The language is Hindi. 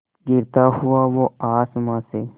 गिरता हुआ वो आसमां से